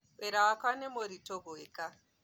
Wĩra wakwa nĩ mũritũ gũeka